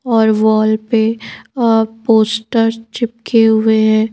और वॉल पे पोस्टर चिपके हुए हैं।